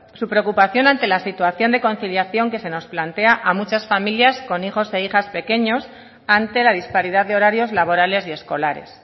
su preocupación ante la situación de conciliación que se nos plantea a muchas familias con hijos e hijas pequeños ante la disparidad de horarios laborales y escolares